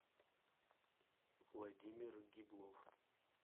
владимир гиблов